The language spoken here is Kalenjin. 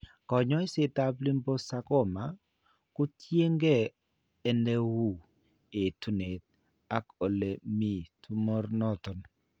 Kaany'ayseetap liposarcoma kotiyeenke ne uu, etuunet ak ole mi tumor noton.